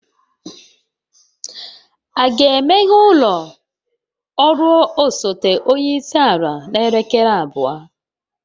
A ga-emeghe ụlọ ọrụ osote onye isi ala n'elekere abụọ?